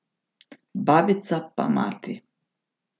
Babica pa mati!